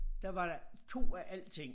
Der var der 2 af alting